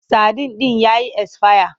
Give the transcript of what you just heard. Sadin ɗin ya yi esfaya.